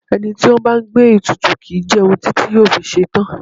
Ẹni tí ó bá ń gbé ètùtù kì í jẹun títí yóò fi ṣetán.